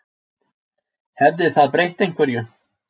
Hefði það breytt einhverju?